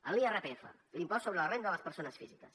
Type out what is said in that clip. en l’irpf l’impost sobre la renda de les persones físiques